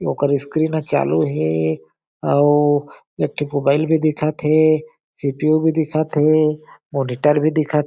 ओकर स्क्रीन अ चालू हे अउ एक ठी मोबाइल भी दिखत हे सी.पी.यू. भी दिखत हे मॉनिटर भी दिखत--